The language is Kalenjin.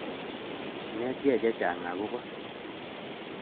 Inetkei chechang' akopo